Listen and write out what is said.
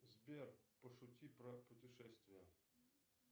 сбер пошути про путешествия